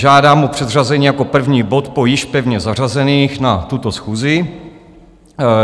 Žádám o předřazení jako první bod po již pevně zařazených na tuto schůzi.